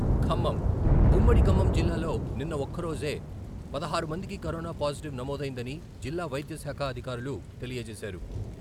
ఖమ్మం, ఉమ్మడి ఖమ్మం జిల్లాలో నిన్న ఒక్కరోజే పదహారు మందికి కరోనా పాజిటివ్ నమోదైందని జిల్లా వైద్య శాఖ అధికారులు తెలియజేశారు.